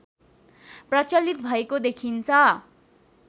प्रचलित भएको देखिन्छ